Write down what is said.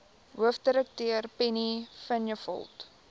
hoofdirekteur penny vinjevold